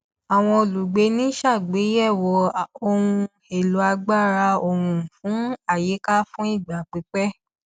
àwọn olùgbé ń ṣàgbéyẹwò ohun èlò agbára oòrùn fún àyíká fún ìgbà pípẹ